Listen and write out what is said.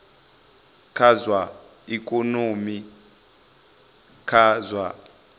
kha zwa ikonomi kha zwa